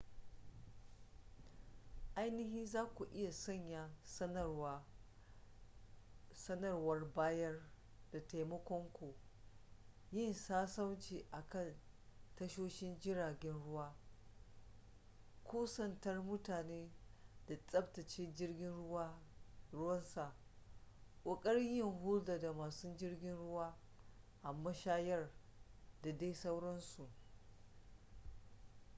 ainihin za ku iya sanya sanarwar bayar da taimakon ku yin sassauci a kan tashoshin jiragen ruwa kusantar mutane da tsabtace jirgin ruwan sa kokarin yin hulɗa da masu jirgin ruwa a mashayar da dai sauransu